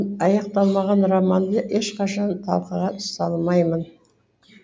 аяқталмаған романды ешқашан талқыға салмаймын